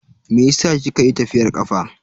Meyasa kika yi tafiyar kafa?